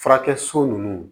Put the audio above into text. Furakɛ so ninnu